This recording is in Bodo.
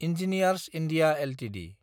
engineers India Ltd